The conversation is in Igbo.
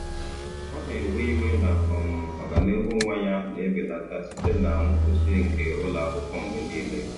Ọ na-ewe iwe na um ọganihu nwa ya na-ebelata site na nkwụsị nke ụlọ akwụkwọ mgbe niile.